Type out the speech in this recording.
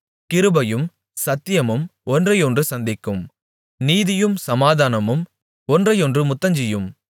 கிருபையும் சத்தியமும் ஒன்றையொன்று சந்திக்கும் நீதியும் சமாதானமும் ஒன்றையொன்று முத்தஞ்செய்யும்